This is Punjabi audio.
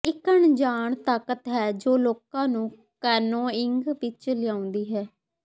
ਇਕ ਅਣਜਾਣ ਤਾਕਤ ਹੈ ਜੋ ਲੋਕਾਂ ਨੂੰ ਕੈਨੋਇੰਗ ਵਿਚ ਲਿਆਉਂਦੀ ਹੈ